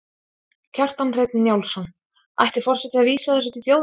Kjartan Hreinn Njálsson: Ætti forseti að vísa þessu til þjóðarinnar?